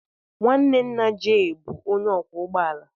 Nwanne nna Jay bụ onye ọkwọ ụgbọ ala.